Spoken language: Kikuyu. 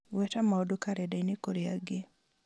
gweta maũndũ karenda-inĩ kũrĩ angĩ